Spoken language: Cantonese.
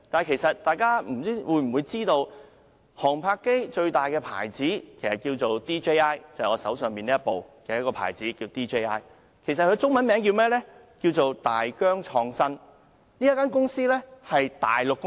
其實，大家是否知道就航拍機而言，最大的品牌是 DJI， 即我手上這一部的品牌，中文名稱是大疆創新科技有限公司。